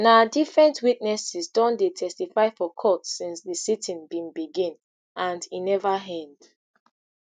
na different witnesses don dey testify for court since di siting bin begin and e neva end